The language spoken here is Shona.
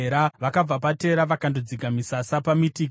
Vakabva paTera vakandodzika misasa paMitika.